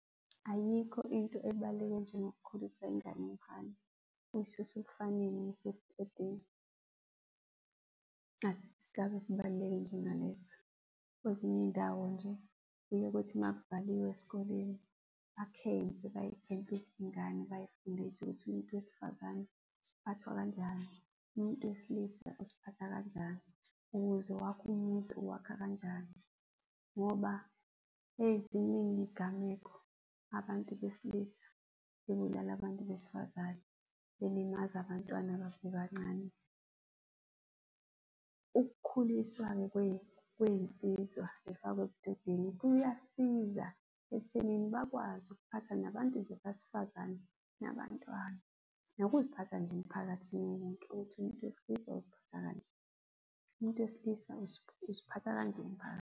Ayikho into ebaluleke njengokukhulisa ingane yomfana uyisuse ebufaneni uyise ebudodeni, asikho isigaba esibaluleke njengaleso. Kwezinye iy'ndawo nje, kuye kuthi uma kuvaliwe eskoleni bakhempe, bay'khempise iy'ngane bayifundise ukuthi umuntu wesifazane uphathwa kanjani, umuntu wesilisa uziphatha kanjani, ukuze wakhe umuzi uwakha kanjani, ngoba seziningi iy'gameko abantu besilisa bebulala abantu besifazane belimaza abantwana abasebancane. Ukukhuliswa-ke kwey'nsiza zifakwe ebudodeni kuyasiza ekuthenini bakwazi ukuphatha nabantu besifazane, nabantwana, nokuziphatha nje emphakathini wonke ukuthi umuntu wesilisa uziphatha kanje, umuntu wesilisa uziphatha kanje .